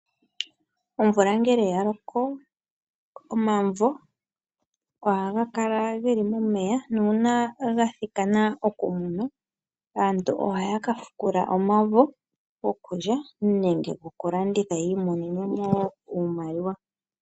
Omvula ngele ya loko ,omavo ohaga kala ge li momeya nuuna ga thikana okuvudhwa aantu ohaya ka fukula omavo gokulya nenge gokulanditha yiimonene mo iimaliwa.